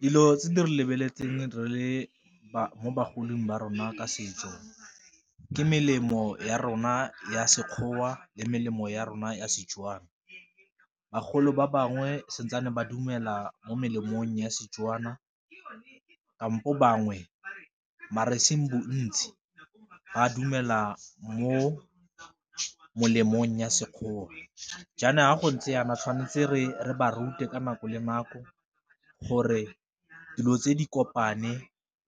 Dilo tse di lebeletseng re le mo bagolong ba rona ka setso ke melemo ya rona ya Sekgowa le melemo ya rona ya Setswana, bagolo ba bangwe santsane ba dumela mo melemong ya Setswana kampo bangwe mare e seng bontsi ba dumela mo molemong ya Sekgowa, jaana fa go ntse jaana tshwanetse re ba rute ka nako le nako gore dilo tse di kopane